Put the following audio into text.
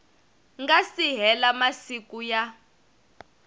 nga si hela masiku ya